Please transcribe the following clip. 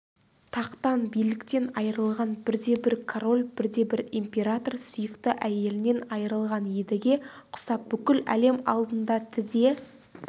тақтан биліктен айырылған бірде-бір король бір де бір император сүйікті әйелінен айырылған едіге құсап бүкіл әлем алдында тізе